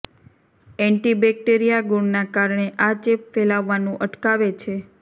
anti bacteria ગુણના કારણે આ ચેપ ફેલાવવાનુ અટકાવે છે